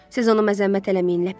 Siz onu məzəmmət eləməyin, ləpirçi.